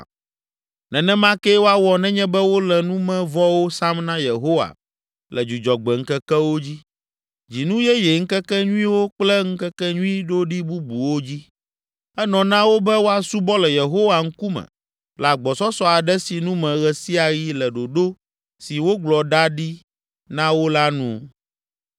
Nenema kee woawɔ nenye be wole numevɔwo sam na Yehowa le Dzudzɔgbe ŋkekewo dzi, Dzinu yeye ŋkekenyuiwo kple ŋkekenyui ɖoɖi bubuwo dzi. Enɔ na wo be woasubɔ le Yehowa ŋkume le agbɔsɔsɔ aɖe sinu me ɣe sia ɣi le ɖoɖo si wogblɔ ɖa ɖi na wo la nu.